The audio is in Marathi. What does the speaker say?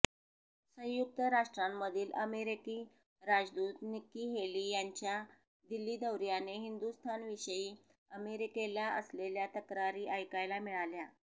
संयुक्त राष्ट्रांमधील अमेरिकी राजदूत निक्की हेली यांच्या दिल्ली दौर्याने हिंदुस्थानविषयी अमेरिकेला असलेल्या तक्रारी ऐकायला मिळाल्या